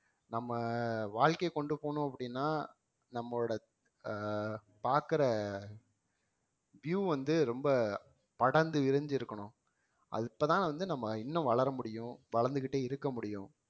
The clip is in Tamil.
நம்ம வாழ்க்கைய கொண்டு போணும் அப்படின்னா நம்மளோட அஹ் பாக்குற view வந்து ரொம்ப படர்ந்து விரிஞ்சு இருக்கணும் அது அப்பதான் வந்து நம்ம இன்னும் வளர முடியும் வளர்ந்துக்கிட்டே இருக்க முடியும்